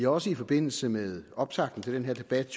også i forbindelse med optakten til den her debat